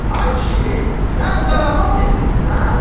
Ay kişi, sən zarafat eləyirsən?